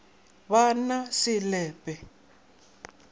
ba na se le pe